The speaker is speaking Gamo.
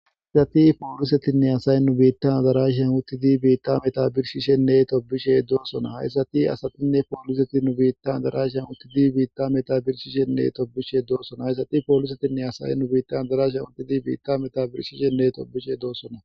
aysati poolisetinne asaye nu biittan darashi yan uttidi biitta metabirshishenne tobishe doosona hayssati asatinne pooliseti nu biittan darashi yan uttidi biitta metabirshishenne tobishe doossona hayssati poolisetinne asaye nu biittan darash an uttidi biitta metabirshishenne tobishe doosona